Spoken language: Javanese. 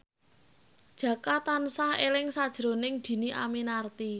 Jaka tansah eling sakjroning Dhini Aminarti